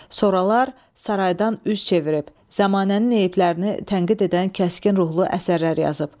Sonralar saraydan üz çevirib, zəmanənin eyblərini tənqid edən kəskin ruhlu əsərlər yazıb.